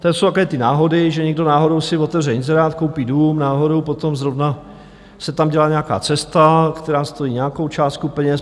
To jsou takové ty náhody, že někdo náhodou si otevře inzerát, koupí dům, náhodou potom zrovna se tam dělá nějaká cesta, která stojí nějakou částku peněz.